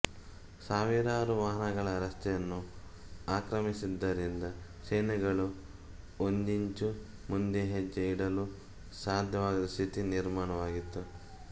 ಸಾವಿರಾರು ವಾಹನಗಳು ರಸ್ತೆಯನ್ನು ಆಕ್ರಮಿಸಿದ್ದರಿಂದ ಸೇನೆಗಳು ಒಂದಿಂಚು ಮುಂದೆ ಹೆಜ್ಜೆ ಇಡಲೂ ಸಾಧ್ಯವಾಗದ ಸ್ಥಿತಿ ನಿರ್ಮಾಣವಾಗಿತ್ತು